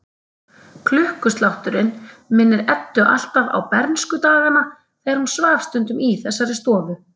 Klukkuslátturinn minnir Eddu alltaf á bernskudagana þegar hún svaf stundum í þessari stofu.